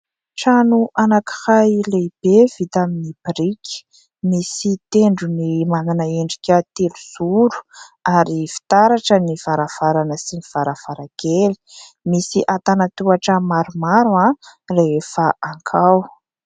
Trano anankiray lehibe vita amin'ny biriky, misy tendrony manana endrika telo zoro ary fitaratra ny varavarana sy ny varavarankely, misy antanan-tohatra maromaro rehefa hakao.